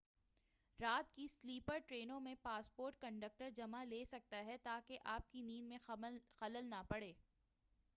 رات کی سلیپر ٹرینوں میں پاسپورٹ کنڈکٹر جمع لے سکتا ہے تاکہ آپ کی نیند میں خلل نہ پڑے